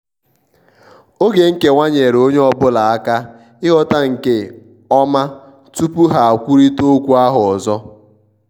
oge nkewa nyeere ọnye ọbụla aka ighọta nke ọma tupu ha kwụrita okwu ahụ ọzọ.